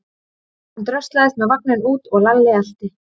Hann dröslaðist með vagninn út og Lalli elti.